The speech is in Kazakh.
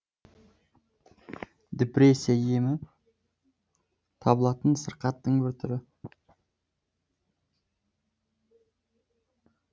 депрессия емі табылатын сырқаттың бір түрі